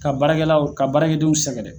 Ka baarakɛlaw ka baarakɛdenw sɛgɛn.